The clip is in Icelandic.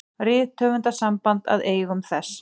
Rithöfundasamband að eigum þess.